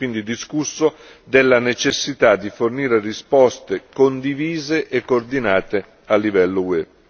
Si è quindi discusso della necessità di fornire risposte condivise e coordinate a livello UE.